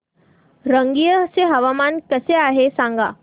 रंगिया चे हवामान कसे आहे सांगा